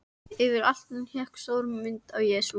Yfir altarinu hékk stór mynd af Jesú.